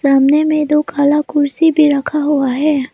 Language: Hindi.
सामने में दो काला कुर्सी भी रखा हुआ है।